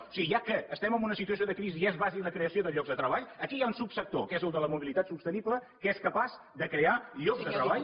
o sigui ja que estem en una situació de crisi i és bàsic la creació de llocs de treball aquí hi ha un subsector que és el de la mobilitat sostenible que és capaç de crear llocs de treball